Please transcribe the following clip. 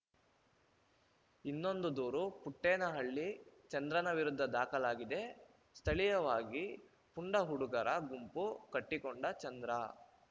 ಇನ್ನೊಂದು ದೂರು ಪುಟ್ಟೇನಹಳ್ಳಿ ಚಂದ್ರನ ವಿರುದ್ಧ ದಾಖಲಾಗಿದೆ ಸ್ಥಳೀಯವಾಗಿ ಪುಂಡ ಹುಡುಗರ ಗುಂಪು ಕಟ್ಟಿಕೊಂಡ ಚಂದ್ರ